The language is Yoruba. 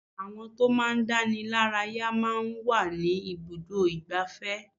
Àwọn tó máa ń dánilaraya máa ń wà ní ibùdó igbàfẹ́.